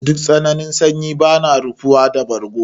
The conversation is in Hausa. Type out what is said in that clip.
Duk tsananin sanyi bana rufuwa da bargo.